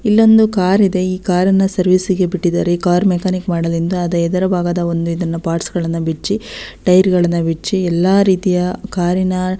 ಇಲೊಂದು ಕಾರಿದೆ ಕಾರನ್ನ ಸರ್ವಿಸ್ಗೆ ಬಿಟ್ಟಿದಾರೆ ಈ ಕಾರ್ ಮೆಕ್ಯಾನಿಕ್ ಮಾಡೋದರಿಂದ ಅದರ ಎದುರು ಭಾಗದಒಂದು ಇದನ್ನ ಪಾರ್ಟ್ಸ್ಗಳನ್ನು ಬಿಚ್ಚಿ ಟೈರುಗಳನ್ನ ಬಿಚ್ಚಿ ಎಲ್ಲರೀತಿಯ ಕಾರಿನ --